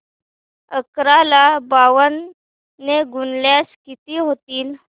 अकरा ला ब्याण्णव ने गुणल्यास किती होतील